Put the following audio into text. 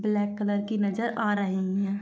Black colour की नजर आ रही है।